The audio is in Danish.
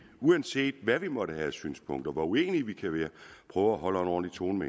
uanset hvad vi måtte have synspunkter hvor uenige vi kan være prøver at holde en ordentlig tone